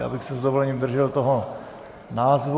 Já bych se s dovolením držel toho názvu.